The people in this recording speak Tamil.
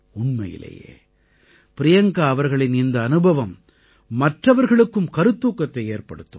உண்மையிலேயே பிரியங்கா அவர்களின் இந்த அனுபவம் மற்றவர்களுக்கும் கருத்தூக்கத்தை ஏற்படுத்தும்